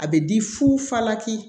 A bɛ di fu falaki